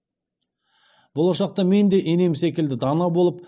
болашақта менде енем секілді дана болып